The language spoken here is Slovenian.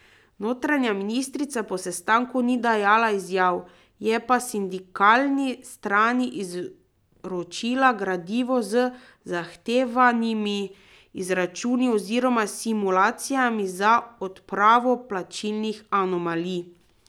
Notranja ministrica po sestanku ni dajala izjav, je pa sindikalni strani izročila gradivo z zahtevanimi izračuni oziroma simulacijami za odpravo plačnih anomalij.